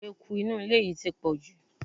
Eku inú ilé yìí ti pọ̀jù.